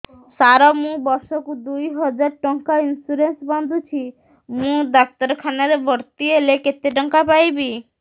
ସାର ମୁ ବର୍ଷ କୁ ଦୁଇ ହଜାର ଟଙ୍କା ଇନ୍ସୁରେନ୍ସ ବାନ୍ଧୁଛି ମୁ ଡାକ୍ତରଖାନା ରେ ଭର୍ତ୍ତିହେଲେ କେତେଟଙ୍କା ପାଇବି